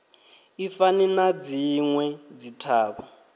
i fani na dzinwe dzithavha